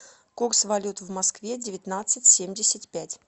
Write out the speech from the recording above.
курс валют в москве девятнадцать семьдесят пять